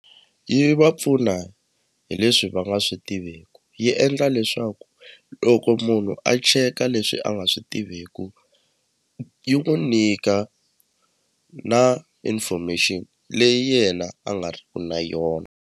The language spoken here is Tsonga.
Yi va pfuna hi leswi va nga swi tiveku yi endla leswaku loko munhu a cheka leswi a nga swi tiviku yi n'wu nyika na information leyi yena a nga ri ku na yona.